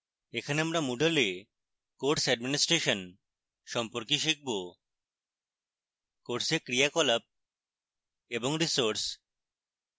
এখানে আমরা moodle we course administration সম্পর্কে শিখব